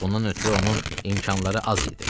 Bundan ötrü onun imkanları az idi.